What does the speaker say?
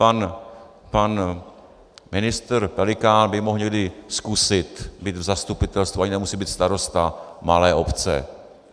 Pan ministr Pelikán by mohl někdy zkusit být v zastupitelstvu, ani nemusí být starosta, malé obce.